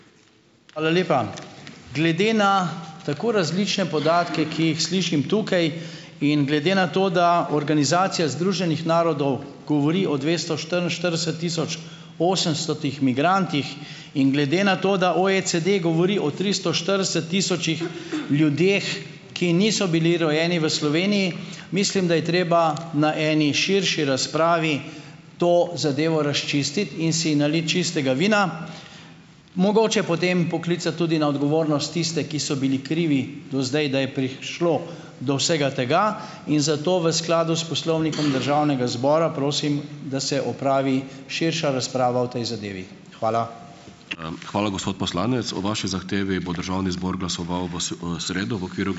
Hvala lepa. Glede na tako različne podatke, ki jih slišim tukaj, in glede na to, da Organizacija združenih narodov govori o dvesto štiriinštirideset tisoč osemstotih migrantih, in glede na to, da OECD govori o tristo štirideset tisočih ljudeh, ki niso bili rojeni v Sloveniji, mislim, da je treba na eni širši razpravi to zadevo razčistiti in si naliti čistega vina. Mogoče potem poklicati tudi na odgovornost tiste, ki so bili krivi do zdaj, da je prišlo do vsega tega. In zato v skladu s Poslovnikom Državnega zbora prosim, da se opravi širša razprava o tej zadevi. Hvala.